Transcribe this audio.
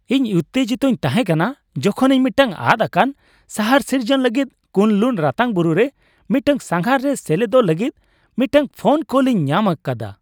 ᱤᱧ ᱩᱛᱛᱮᱡᱤᱛᱚᱧ ᱛᱟᱦᱮᱸ ᱠᱟᱱᱟ ᱡᱚᱠᱷᱚᱱ ᱤᱧ ᱢᱤᱫᱴᱟᱝ ᱟᱫ ᱟᱠᱟᱱ ᱥᱟᱦᱟᱨ ᱥᱤᱨᱡᱚᱱ ᱞᱟᱹᱜᱤᱫ ᱠᱩᱱᱼᱞᱩᱱ ᱨᱟᱛᱟᱝ ᱵᱩᱨᱩ ᱨᱮ ᱢᱤᱫᱴᱟᱝ ᱥᱟᱸᱜᱷᱟᱨ ᱨᱮ ᱥᱮᱞᱮᱫᱚᱜ ᱞᱟᱹᱜᱤᱫ ᱢᱤᱫᱴᱟᱝ ᱯᱷᱳᱱ ᱠᱚᱞ ᱤᱧ ᱧᱟᱢ ᱟᱠᱫᱟ ᱾